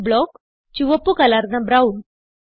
p block - ചുവപ്പ് കലർന്ന brown